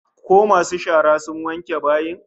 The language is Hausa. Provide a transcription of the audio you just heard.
Ko masu shara sun wanke bayin?